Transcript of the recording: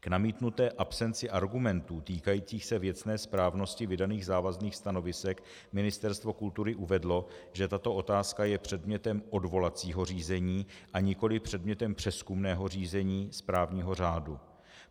K namítnuté absenci argumentů týkajících se věcné správnosti vydaných závazných stanovisek Ministerstvo kultury uvedlo, že tato otázka je předmětem odvolacího řízení, a nikoliv předmětem přezkumného řízení správního řádu.